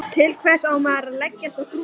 Til hvers á maður að leggjast á grúfu?